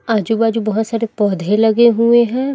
आजू बाजू बहोत सारे पौधे लगे हुए हैं।